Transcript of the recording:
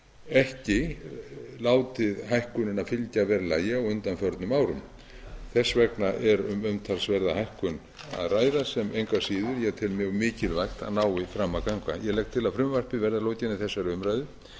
ekki látið hækkunina fylgja verðlagi á undanförnum árum þess vegna er um umtalsverða hækkun að ræða sem engu að síður ég tel mjög mikilvægt að nái fram að ganga ég legg til að frumvarpinu verði að lokinni þessari umræðu